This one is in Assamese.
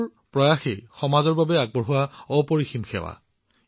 যিকোনো প্ৰচেষ্টাই হওক ই সমাজৰ বাবে এক মহান সেৱা